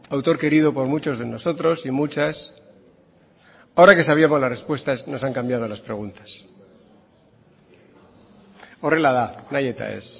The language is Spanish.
autor querido por muchos de nosotros y muchas ahora que sabíamos las respuestas nos han cambiado las preguntas horrela da nahi eta ez